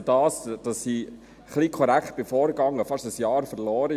Ich habe dadurch, dass ich ein wenig korrekt vorging, fast ein Jahr verloren.